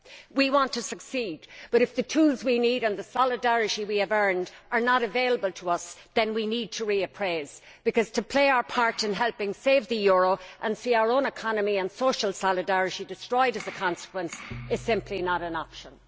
We want to succeed, but if the tools we need and the solidarity we have earned are not available to us, then we need to reappraise, because to play our part in helping to save the euro and then see our own economy and social solidarity destroyed as a consequence is simply not an option.